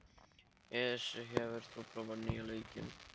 Esí, hefur þú prófað nýja leikinn?